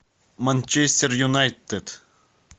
манчестер юнайтед